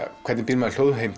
hvernig býr maður